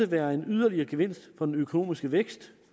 være en yderligere gevinst for den økonomiske vækst